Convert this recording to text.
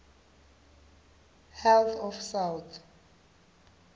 health of south